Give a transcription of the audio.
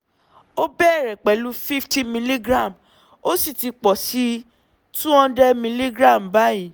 ó bẹ̀rẹ̀ pẹ̀lú fifty milligram ó sì ti pọ̀ sí two hundred milligram báyìí